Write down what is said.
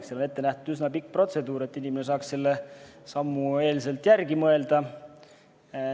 Selleks on ette nähtud üsna pikk protseduur, et inimene saaks selle sammu üle eelnevalt järele mõelda.